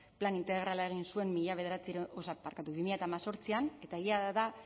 plan integrala egin zuen bi mila zortzian eta egia da